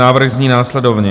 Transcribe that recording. Návrh zní následovně: